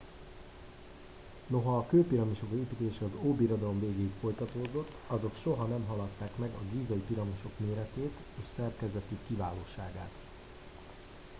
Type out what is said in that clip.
noha a kőpiramisok építése az óbirodalom végéig folytatódott azok soha nem haladták meg a gízai piramisok méretét és szerkezetük kiválóságát